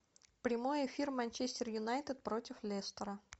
прямой эфир манчестер юнайтед против лестера